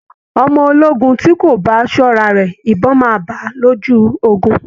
Ọmọ ológun tí kò bá ṣọ́ra rẹ̀, ìbọn máa bá a lójú ogun